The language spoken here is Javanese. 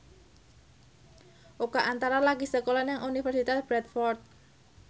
Oka Antara lagi sekolah nang Universitas Bradford